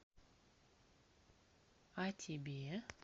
а тебе